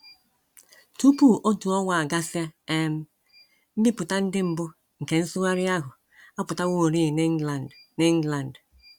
Tupu otu ọnwa agasịa um, mbipụta ndị mbụ nke nsụgharị ahụ apụtaworị n’England n’England.